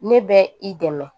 Ne bɛ i dɛmɛ